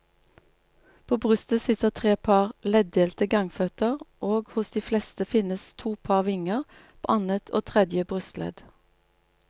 På brystet sitter tre par leddelte gangføtter og hos de fleste finnes to par vinger, på annet og tredje brystledd.